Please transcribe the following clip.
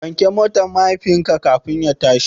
Wanke motar mahaifinka kafin ya tashi.